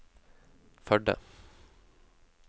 Førde